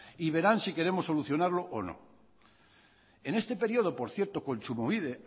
y verán si queremos solucionarlo o no en este período por cierto kontsumobide